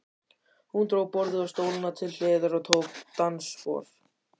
Hún dró borðið og stólana til hliðar og tók dansspor.